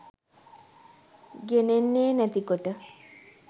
ගෙනෙන්නේ නැති කොට.